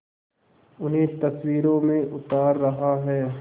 उन्हें तस्वीरों में उतार रहा है